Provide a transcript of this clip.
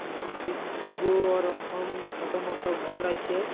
নিচুর দিগও ওরকম ছোট মোট ঘর আইছে।